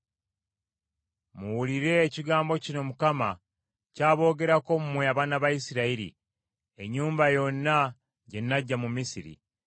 Muwulire ekigambo kino Mukama ky’aboogerako mmwe abaana ba Isirayiri, ennyumba yonna gye naggya mu Misiri.